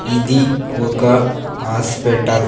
ఇది ఒక హాస్పెటల్ .